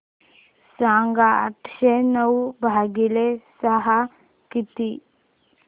सांगा आठशे नऊ भागीले सहा किती